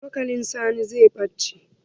Cokalin Sani zai ɓace.